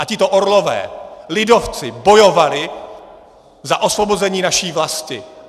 A tito orlové, lidovci, bojovali za osvobození naší vlasti!